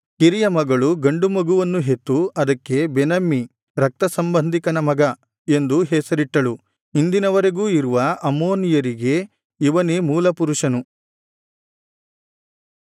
ಕಿರಿಯ ಮಗಳು ಗಂಡು ಮಗುವನ್ನು ಹೆತ್ತು ಅದಕ್ಕೆ ಬೆನಮ್ಮಿ ರಕ್ತ ಸಂಬಂಧಿಕನ ಮಗ ಎಂದು ಹೆಸರಿಟ್ಟಳು ಇಂದಿನವರೆಗೂ ಇರುವ ಅಮ್ಮೋನಿಯರಿಗೆ ಇವನೇ ಮೂಲಪುರುಷನು